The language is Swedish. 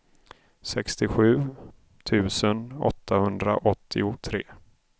sextiosju tusen åttahundraåttiotre